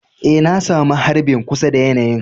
Eh, na samu harbin kusa na yanayi'n.